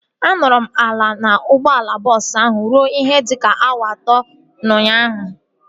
A nọrọ m ala n'ụgbọala bọọsu ahu ruo ihe dịka awa atọ ụnyaahụ